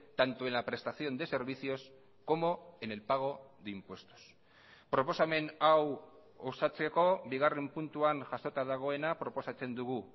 tanto en la prestación de servicios como en el pago de impuestos proposamen hau osatzeko bigarren puntuan jasota dagoena proposatzen dugu